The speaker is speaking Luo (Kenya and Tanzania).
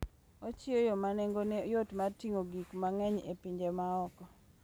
Ochiwo yo ma nengone yot mar ting'o gik mang'eny e pinje ma oko.